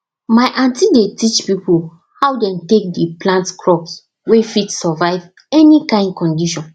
my aunty dey teach people how dem take dey plant crops wey fit survive any kind condition